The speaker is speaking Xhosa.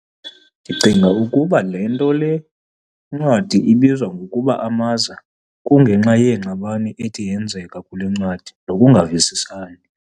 Ndicinga ukuba le nto le ncwadi ibizwa ngokuba "Amaza" kunge nxa yeengxabano ethi yenzeke kule ncwadi, nokungavisisani.